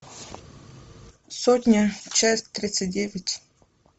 сотня часть тридцать девять